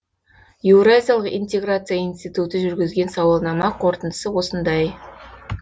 еуразиялық интеграция институты жүргізген сауалнама қорытындысы осындай